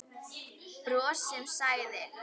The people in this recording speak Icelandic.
Bros sem sagði